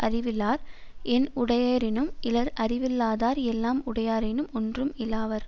அறிவிலார் என் உடையரேனும் இலர் அறிவிலாதார் எல்லாம் உடையராயினும் ஒன்றும் இலாவர்